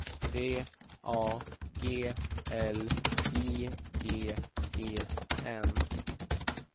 D A G L I G E N